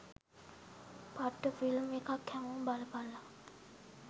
පට්ට ෆිල්ම් එකක් හැමෝම බලපල්ලා.